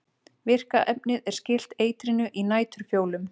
virka efnið er skylt eitrinu í næturfjólum